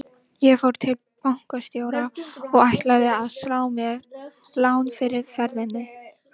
Ég fór til bankastjóra og ætlaði að slá mér lán fyrir ferðinni.